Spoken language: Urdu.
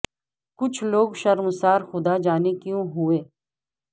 کچھ لوگ شر مسار خدا جا نے کیو ں ہو ئے